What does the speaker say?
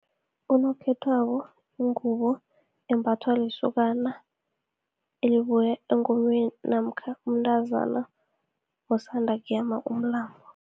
Unokhethwako, yingubo embathwa lisokana elibuya engomeni, namkha mntazana osanda kuyama umlambo.